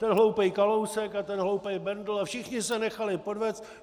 Ten hloupej Kalousek a ten hlouplej Bendl - a všichni se nechali podvést.